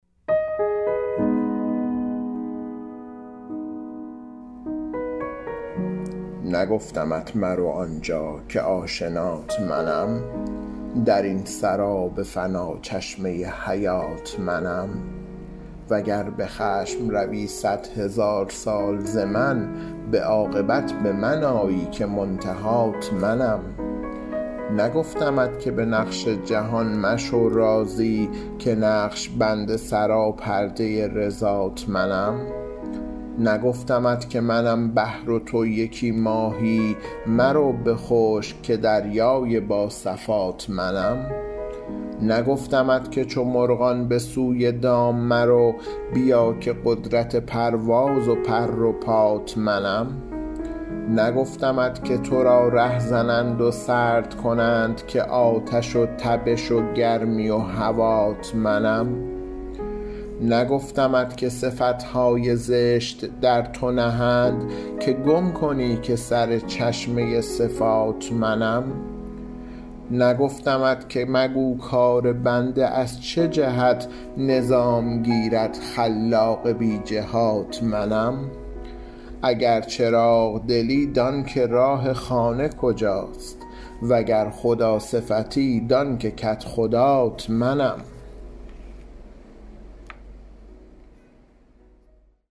نگفتمت مرو آنجا که آشنات منم در این سراب فنا چشمه حیات منم وگر به خشم روی صدهزار سال ز من به عاقبت به من آیی که منتهات منم نگفتمت که به نقش جهان مشو راضی که نقش بند سراپرده رضات منم نگفتمت که منم بحر و تو یکی ماهی مرو به خشک که دریای با صفات منم نگفتمت که چو مرغان به سوی دام مرو بیا که قدرت پرواز و پر و پات منم نگفتمت که تو را ره زنند و سرد کنند که آتش و تبش و گرمی هوات منم نگفتمت که صفت های زشت در تو نهند که گم کنی که سر چشمه صفات منم نگفتمت که مگو کار بنده از چه جهت نظام گیرد خلاق بی جهات منم اگر چراغ دلی دان که راه خانه کجاست وگر خداصفتی دان که کدخدات منم